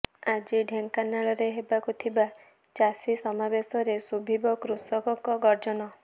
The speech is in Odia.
ଆଜି ଢେଙ୍କାନାଳରେ ହେବାକୁ ଥିବା ଚାଷୀ ସମାବେଶରେ ଶୁଭିବ କୃଷକଙ୍କ ଗର୍ଜନ